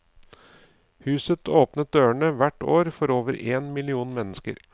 Huset åpner dørene hvert år for over én million mennesker.